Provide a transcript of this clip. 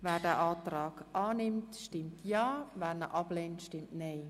Wer den Antrag annimmt, stimmt ja, wer ihn ablehnt, stimmt nein.